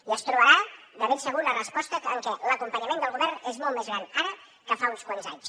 i es trobarà de ben segur una resposta en què l’acompanyament del govern és molt més gran ara que fa uns quants anys